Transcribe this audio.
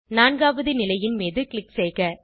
நான்காவது நிலையின் மீது க்ளிக் செய்க